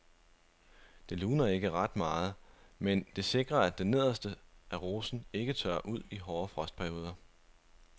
Det luner ikke ret meget, men det sikrer at det nederste af rosen ikke tørrer ud i hårde frostperioder.